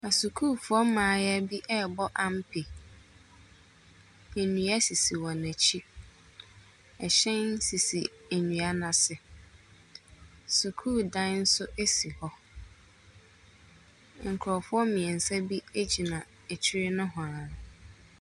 Asukuufo mmaayea bi rebɔ ampe. Nnua sisi wɔn akyi. Ɛhyɛn sisi nnua no ase. Sukuudan nso si hɔ. Nkrɔfoɔ mmiɛnsa bi gyina akyiri hɔ nohwaa.